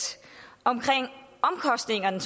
omkring omkostningerne